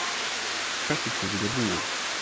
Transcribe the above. Kaffitíminn er búinn.